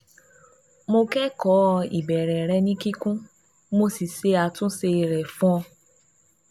Mo kẹ́kọ̀ọ́ ìbéèrè rẹ ní kíkún mo sì ṣe àtúnṣe rẹ̀ fún ọ